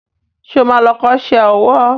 Ṣé o ma lọ kọ́ṣẹ́ owó?